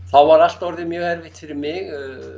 þá var allt orðið mjög erfitt fyrir mig